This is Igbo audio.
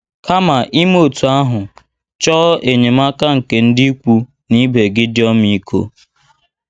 Kama ime otú ahụ, chọọ enyemaka nke ndị ikwu na ibe gị dị ọmịiko.